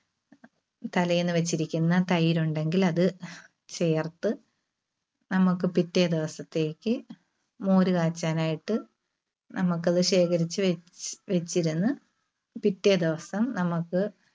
തലേന്ന് വച്ചിരിക്കുന്ന തൈര് ഉണ്ടെങ്കില് അത് ചേർത്ത് നമുക്ക് പിറ്റേ ദിവസത്തേക്ക് മോരുകാച്ചാനായിട്ട് നമുക്ക് അത് ശേഖരിച്ചുവച്ച്~വച്ചിരുന്ന് പിറ്റേ ദിവസം നമുക്ക്